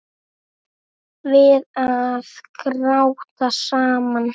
Við að gráta saman.